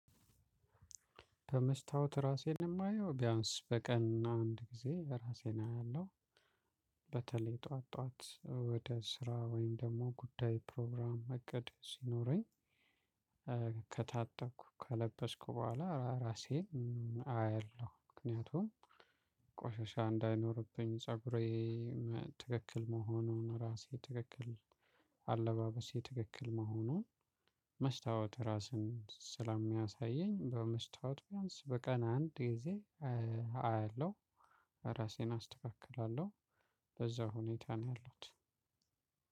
በመስታወት ራሴን የማየው ቢያንስ በቀን አንድ ጊዜ ራሴን አያለሁ። ጠዋት ጠዋት ወደ ስራ ወይም ደግሞ ጉዳይ ፕሮግራም እቅድ ሲኖረኝ። ከታጠብኩ ከለበስኩ በኋላ ራሴ አየለሁ ምክንያቱም ቆሻሻ እንዳይኖርብኝ ፀጉሬ ትክክል መሆኑን ራሴ ትክክል አለባበሴ ትክክል መሆኑን። መስታወት ራስን ስላሚያሳየኝ በመስታወት ቢያንስ በቀን አንድ ጊዜ አያለሁ ራሴን አስተካክላለሁ። በዛ ሁኔታ ነው ያሉት።